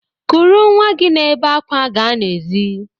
Kuru nnwa gị na-ebe àkwà ga n'èzí!